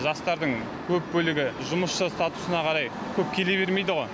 жастардың көп бөлігі жұмысшы статусына қарай көп келе бермейді ғо